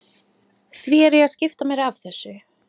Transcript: Því er ég að skipta mér af þessu?